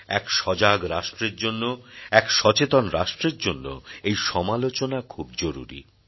এক সজাগ রাষ্ট্রের জন্য এক সচেতন রাষ্ট্রের জন্য এই সমালোচনা খুব জরুরী